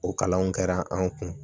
O kalanw kɛra an kun